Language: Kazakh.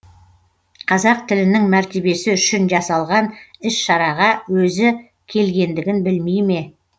қазақ тілінің мәртебесі үшін жасалған іс шараға өзі келгендігін білмей ме